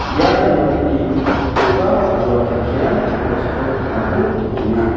ia nokni do·ga aro kelkirang nosto ong·ako nikenga.